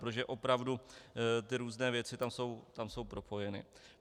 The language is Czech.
Protože opravdu ty různé věci tam jsou propojeny.